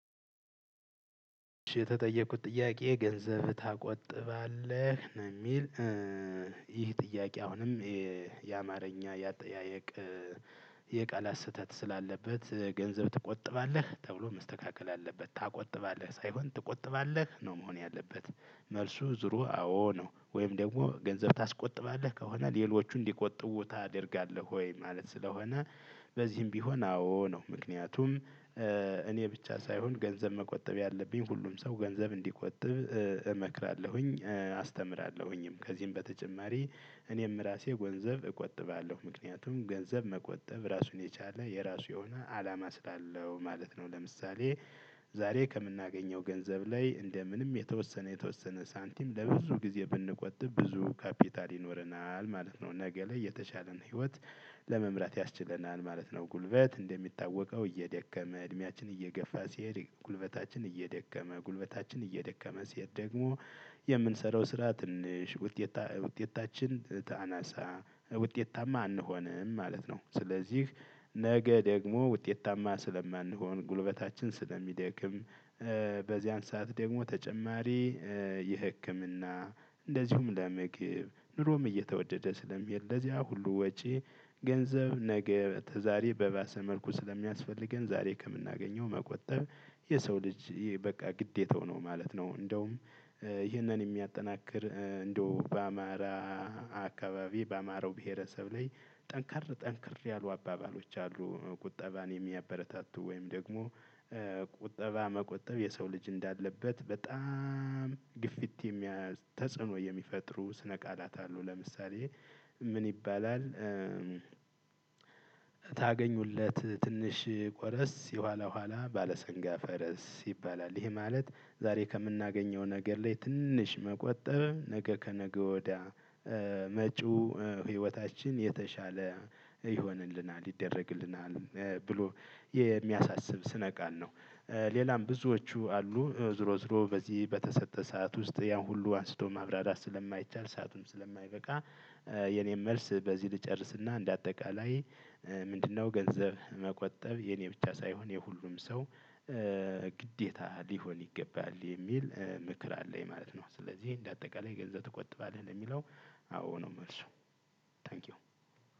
የተጠየቅኩት ጥያቄ ገንዘብ ታቆጥባለህ ነው የሚል። ይህ ጥያቄ አሁንም የ የአማርኛ የአጠያየቅ የቃላት ስህተት ስላለበት ገንዘብ ትቆጥባለህ ተብሎ መስተካከል አለበት። ታቆጥባለህ ሳይሆን ትቆጥባለህ ነው መሆን ያለበት። መልሱ ዙሮ አዎ ነው ወይም ደግሞ ገንዘብ ታስቆጥባለህ ከሆነ ሌሎች እንዲቆጥቡ ታደርጋለህ ወይ? ማለት ስለሆነ በዚህም ቢሆን አዎ ነው። ምክንያቱም እኔ ብቻ ሳይሆን ገንዘብ መቆጠብ ያለብኝ ሁሉም ሰው ገንዘብ እንዲቆጥብ እመክራለሁኝ አስተምራለሁኝም። ከዚህም በተጨማሪ እኔም ራሴ ጎንዘብ እቆጥባለሁ። ምክንያቱም ገንዘብ መቆጠብ ራሱን የቻለ የራሱ የሆነ አላማ ስላለው ማለት ነው። ለምሳሌ ዛሬ ከምናገኘው ገንዘብ ላይ እንደ ምንም የተወሰነ የተወሰነ ሳንቲም ለብዙ ጊዜ ብንቆጥብ ብዙ ካፒታል ይኖረናል ማለት ነው። ነገ ላይ የተሻለ ህይወት ለመምራት ያስችለናል ማለት ነው። ጉልበት እንደሚታወቀው እየደከመ እድሜያችን እየገፋ ሲሄድ ጉልበታችን እየደከመ ጉልበታችን እየደከመ ሲሄድ ደግሞ የምንሰራው ስራ ትንሽ ውጤታ ውጤታችን ታ አናሳ ውጤታማ አንሆንም ማለት ነው። ስለዚህ ነገ ደግሞ ውጤታማ ስለማንሆን ጉልበታችን ስለሚደክም። በዚያን ሰዓት ደግሞ ተጨማሪ የህክምና እንደዚሁም ለምግብ ኑሮም እየተወደደ ስለሚሄድ ለዚያ ሁሉ ወጪ ገንዘብ ነገ ተዛሬ በባሰ መልኩ ስለሚያስፈልገን ዛሬ ከምናገኘው መቆጠብ። የሰው ልጅ በቃ ግዴታው ነው ማለት ነው። እንደውም ይህንን የሚያጠናክር እንደው በ አማራ አከባቢ በአማራው ብሄረሰብ ላይ ጠንከር ጠንከር ያሉ አባባሎች አሉ። ቁጠባን የሚያበረታቱ ወይም ደግሞ ቁጠባ መቆጠብ የሰው ልጅ እንዳለበት በጣም ግፊት የሚያይ ተጽዕኖ የሚፈጥሩ ስነ ቃላት አሉ። ለምሳሌ ምን ይባላል? ታገኙለት ትንሽ ቆረስ የኋላ ኋላ ባለሰንጋ ፈረስ ይባላል። ይህም ማለት ዛሬ ከምናገኘው ነገር ላይ ትንሽ መቆጠብ ነገ ከነገ ወዲያ መጪው ህይወታችን የተሻለ ይሆንልናል ይደረግልናል ብሎ የሚያሳስብ ስነ ቃል ነው። ሌላም ብዙዎቹ አሉ ዝሮ ዝሮ በዚህ በተሰጠ ሰዓት ውስጥ ያን ሁሉ አንስቶ ማብራሪያ ስለማይቻል ሰአቱም ስለማይበቃ። የኔን መልስ በዚህ ልጨርስና እንደ አጠቃላይ ምንድነው? ገንዘብ መቆጠብ የኔ ብቻ ሳይሆን የሁሉም ሰው ግዴታ ሊሆን ይገባል የሚል ምክር አለኝ ማለት ነው። ስለዚህ እንደ አጠቃላይ ገንዘብ ትቆጥባለህ ለሚለው አዎ ነው መልሱ። ታንኪው